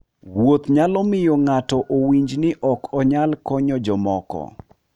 Wuoth nyalo miyo ng'ato owinj ni ok onyal konyo jomoko.